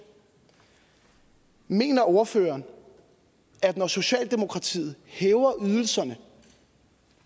mener ordføreren at når socialdemokratiet hæver ydelserne